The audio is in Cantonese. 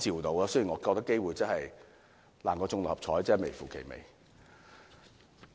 但是，我認為機會比中六合彩還要低，真是微乎其微。